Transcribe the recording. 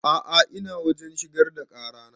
A'a ina wajen shigar da ƙara na